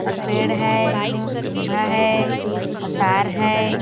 और पेड़ है खंभा है और तार है।